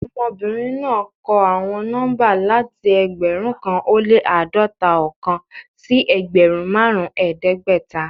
Ọmọbinrin naa kọ awọn nọmba lati ẹgbẹrun kan o le ãdọta-ọkan si ẹgbẹrun marun ẹdẹgbẹta